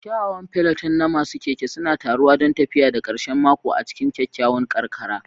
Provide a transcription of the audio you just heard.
Kyawawan peloton na masu keke suna taruwa don tafiya ta karshen mako a cikin kyakkyawan karkara.